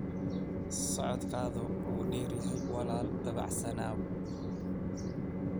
Socdaalku waa dheeryahay, walaal dabacsanow.